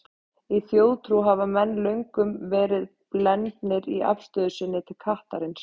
Í þjóðtrú hafa menn löngum verið blendnir í afstöðu sinni til kattarins.